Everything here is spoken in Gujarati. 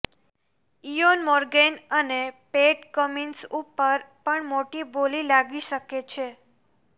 ઇયોન મોર્ગન અને પેટ કમિન્સ ઉપર પણ મોટી બોલી લાગી શકે છે